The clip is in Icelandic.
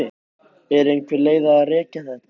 Er einhver leið að rekja þetta?